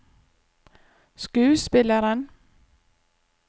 skuespilleren